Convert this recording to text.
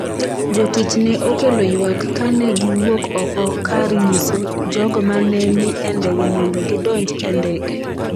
Jotich ne okelo ywak ka ne giwuok oko kar nyiso jogo ma ne ni e ndege mondo gidonj e ndege.